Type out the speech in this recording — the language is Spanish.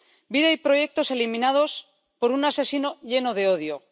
Vida y proyectos eliminados por un asesino lleno de odio.